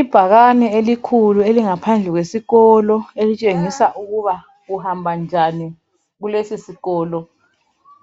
Ibhakane elikhulu elingaphandle kwesikolo elitshengisa ukuba uhamba njani kulesisikolo